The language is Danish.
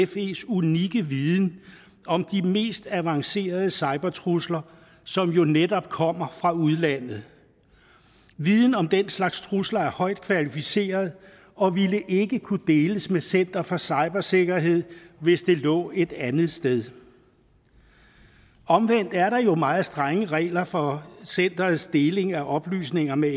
fes unikke viden om de mest avancerede cybertrusler som jo netop kommer fra udlandet viden om den slags trusler er højt kvalificeret og ville ikke kunne deles med center for cybersikkerhed hvis det lå et andet sted omvendt er der jo meget strenge regler for centerets deling af oplysninger med